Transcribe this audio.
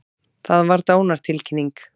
Það var dánartilkynning.